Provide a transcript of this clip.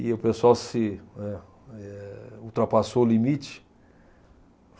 E o pessoal se eh eh ultrapassou o limite.